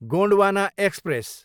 Gondwana express